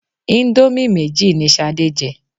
Íńdómì méjì ni Ṣadé jẹ.